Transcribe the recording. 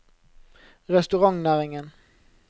restaurantnæringen